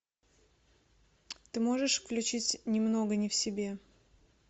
ты можешь включить немного не в себе